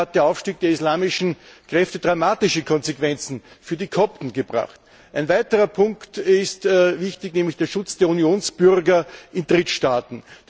In Ägypten hat der Aufstieg der islamischen Kräfte dramatische Konsequenzen für die Kopten gebracht. Ein weiterer Punkt ist wichtig, nämlich der Schutz der Unionsbürger in Drittstaaten.